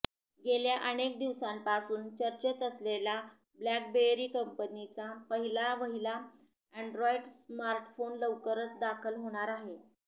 गेल्या अनेक दिवसांपासून चर्चेत असलेला ब्लॅकबेरी कंपनीचा पहिला वहिला अँड्रोईड स्मार्टफोन लवकरच दाखल होणार आहे